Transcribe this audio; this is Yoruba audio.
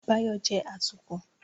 Báyọ̀ jẹ́ atukọ̀